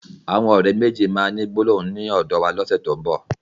Àwọn ọ̀rẹ́ méjèèjì máa ni gbólóhùn ni ọ́dọ̀ wa ní ọ̀sẹ̀ tó n bọ̀